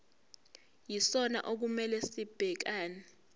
yisona okumele sibhekane